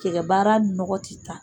Kɛgɛ baara ni nɔgɔ ti taa